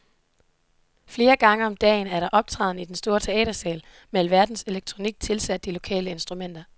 Flere gange om dagen er der optræden i en stor teatersal med alverdens elektronik tilsat de lokale instrumenter.